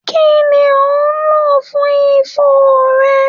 Kí ni ò ń lò fún ifo rẹ?